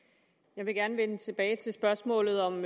jeg vil gerne vende tilbage til spørgsmålet om